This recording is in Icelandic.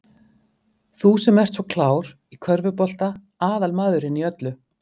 Þú sem ert svo klár. í körfubolta. aðal maðurinn í öllu!